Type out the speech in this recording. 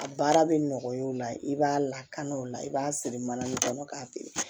A baara bɛ nɔgɔya o la i b'a lakana o la i b'a siri mana kɔnɔ k'a feere